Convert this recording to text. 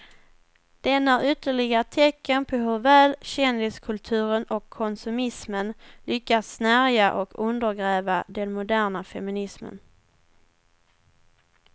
Den är ytterligare ett tecken på hur väl kändiskulturen och konsumismen lyckats snärja och undergräva den moderna feminismen.